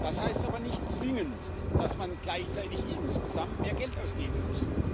Das heißt aber nicht zwingend, dass man gleichzeitig insgesamt mehr Geld ausgeben muss.